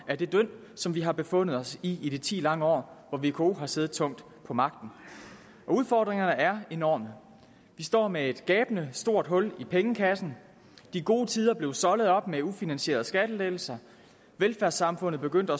af det dynd som vi har befundet os i i de ti lange år hvor vko har siddet tungt på magten udfordringerne er enorme vi står med et gabende stort hul i pengekassen de gode tider blev soldet op med ufinansierede skattelettelser velfærdssamfundet begyndte